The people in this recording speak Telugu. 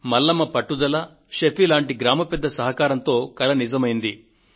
మల్లమ్మ పట్టుదల షఫీ లాంటి గ్రామ పెద్ద సహకారంతో కల నిజమైంది